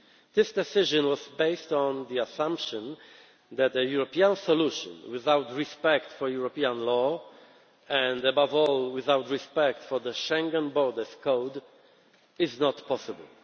This decision was based on the assumption that a European solution without respect for European law and, above all, without respect for the Schengen borders code is not possible.